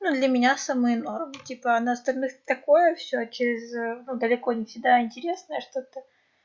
ну для меня самое норм типа а на остальных такое все через ээ далеко не всегда интересное что-то